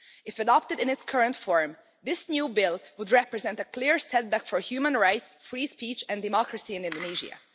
If adopted in its current form, this new bill would represent a clear setback for human rights, free speech and democracy in Indonesia.